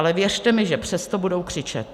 Ale věřte mi, že přesto budou křičet.